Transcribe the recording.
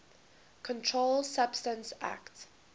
controlled substances acte